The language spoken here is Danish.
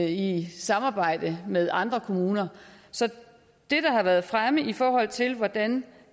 i samarbejde med andre kommuner så det der har været fremme i forhold til hvordan